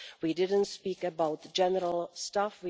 We didn't speak about general stuff.